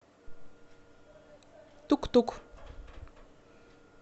тук тук